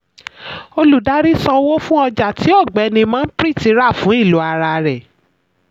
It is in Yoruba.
olùdarí san owó fún ọjà tí ọ̀gbẹ́ni manpreet rà fún ilò ara rẹ̀.